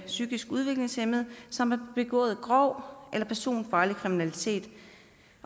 psykisk udviklingshæmmede som har begået grov eller personfarlig kriminalitet